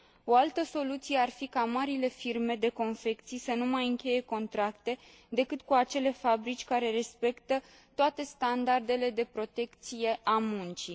O altă soluție ar fi ca marile firme de confecții să nu mai încheie contracte decât cu acele fabrici care respectă toate standardele de protecție a muncii.